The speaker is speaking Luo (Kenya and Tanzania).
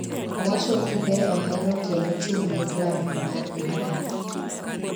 owacho ni de ohero kendo chung'ne klabno mar Ingland